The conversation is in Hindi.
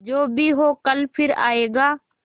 जो भी हो कल फिर आएगा